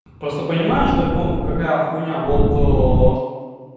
просто понимаешь драконов какая хуйня вот